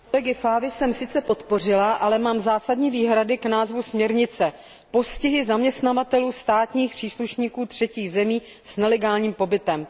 Zprávu kolegy Favy jsem sice podpořila, ale mám zásadní výhrady k názvu směrnice postihy zaměstnavatelů státních příslušníků třetích zemí s nelegálním pobytem.